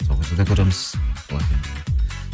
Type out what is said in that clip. сол кезде де көреміз